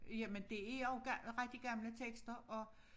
Jamen det jo rigtig gamle tekster og